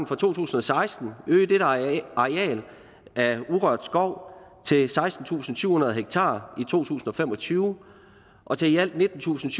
fra to tusind og seksten øge dette areal af urørt skov til sekstentusinde og syvhundrede ha i to tusind og fem og tyve og til i alt nittentusinde